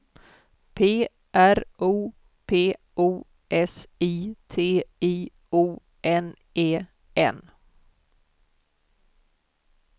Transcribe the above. P R O P O S I T I O N E N